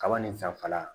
Kaba nin fanfɛla